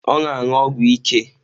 Ọ na-aṅụ ọgwụ ike?